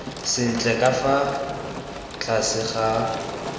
sentle ka fa tlase ga